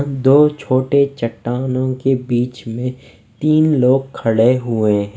दो छोटे चट्टानों के बीच में तीन लोग खड़े हुए हैं।